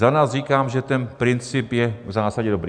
Za nás říkám, že ten princip je v zásadě dobrý.